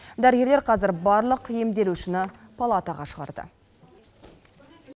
дәрігерлер қазір барлық емделушіні палатаға шығарды